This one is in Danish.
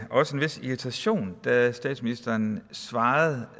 også en vis irritation da statsministeren svarede